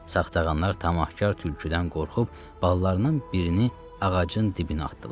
Saxçağanlar tamahkar tülküdən qorxub balalarından birini ağacın dibinə atdılar.